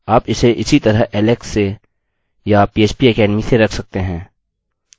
आप इसे इसी तरह ऐलेक्स से या phpacademy से रख सकते हैं